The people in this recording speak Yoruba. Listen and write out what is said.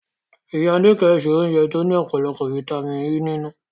Ìyá Níkẹ̀ se oúnjẹ tó ní ọ̀pọ̀lọpọ̀ fítámìnì E nínú